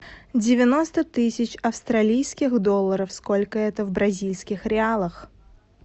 девяносто тысяч австралийских долларов сколько это в бразильских реалах